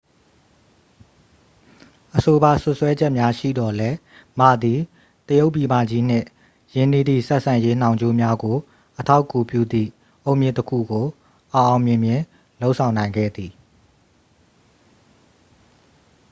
အဆိုပါ စွပ်စွဲချက်များရှိသော်လည်း မ သည် တရုတ်ပြည်မကြီးနှင့် ရင်းနှီးသည့် ဆက်ဆံရေးနှောင်ကြိုးများကို အထောက်အကူပြုသည့် အုတ်မြစ်တစ်ခုကို အောင်အောင်မြင်မြင် လုပ်ဆောင်နိုင်ခဲ့သည်